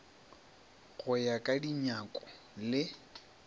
go ya ka dinyako le